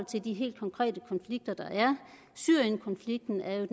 til de helt konkrete konflikter der er syrienkonflikten er jo